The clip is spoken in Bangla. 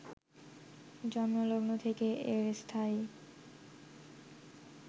জন্মলগ্ন থেকে এর স্থায়ী